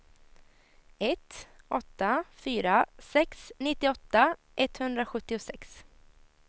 ett åtta fyra sex nittioåtta etthundrasjuttiosex